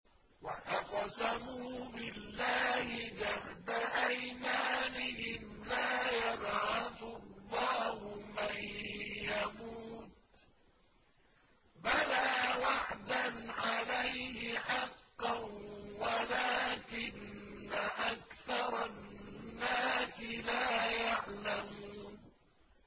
وَأَقْسَمُوا بِاللَّهِ جَهْدَ أَيْمَانِهِمْ ۙ لَا يَبْعَثُ اللَّهُ مَن يَمُوتُ ۚ بَلَىٰ وَعْدًا عَلَيْهِ حَقًّا وَلَٰكِنَّ أَكْثَرَ النَّاسِ لَا يَعْلَمُونَ